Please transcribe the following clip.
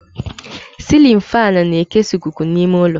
Cilin fáan na-ekesa ikuku n'ime ụlọ